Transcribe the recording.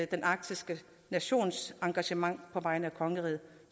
den arktiske nations engagement på vegne af kongeriget